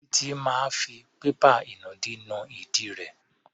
Títí máa fi pépà ìnùdí nu ìdí rẹ̀.